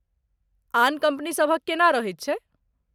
आन कम्पनी सभक केना रहैत छै?